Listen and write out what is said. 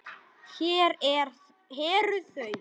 Hér eru þau